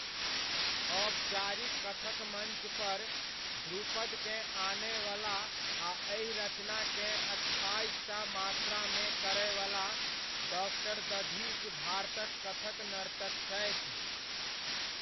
औपचारिक कथक मञ्चपर 'ध्रुपद'केँ आनयवला आ एहि रचनाकेँ अठाइसटा मात्रामे करयवला, डॉ. दधीच भारतक कथक नर्तक छथि।